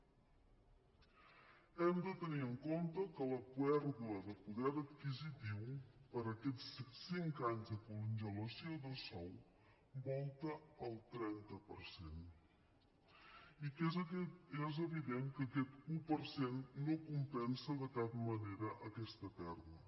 hem de tenir en compte que la pèrdua de poder adquisitiu per aquests cinc anys de congelació de sou volta el trenta per cent i que és evident que aquest un per cent no compensa de cap manera aquesta pèrdua